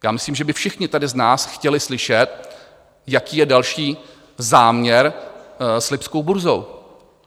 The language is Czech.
Já myslím, že by všichni tady z nás chtěli slyšet, jaký je další záměr s lipskou burzou.